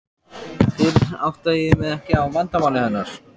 Fyrr áttaði ég mig ekki á vandamáli hennar.